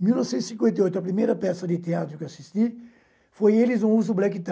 em mil novecentos e cinquenta e oito, a primeira peça de teatro que eu assisti foi eles no uso black tie.